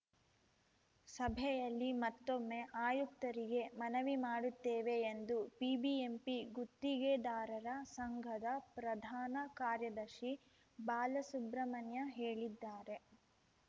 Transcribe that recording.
ಸಭೆಯಲ್ಲಿ ಮತ್ತೊಮ್ಮೆ ಆಯುಕ್ತರಿಗೆ ಮನವಿ ಮಾಡುತ್ತೇವೆ ಎಂದು ಬಿಬಿಎಂಪಿ ಗುತ್ತಿಗೆದಾರರ ಸಂಘದ ಪ್ರಧಾನ ಕಾರ್ಯದರ್ಶಿ ಬಾಲಸುಬ್ರಹ್ಮಣ್ಯ ಹೇಳಿದ್ದಾರೆ